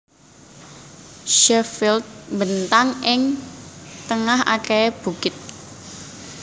Sheffield mbentang ing tengah akehé bukit